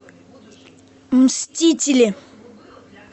мстители